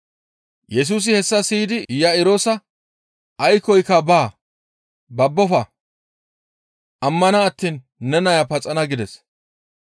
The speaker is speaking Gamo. Yesusi hessa siyidi Iya7iroosa, «Aykkoy baa; babbofa! Ammana attiin ne naya paxana» gides.